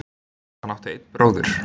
Hann átti einn bróður.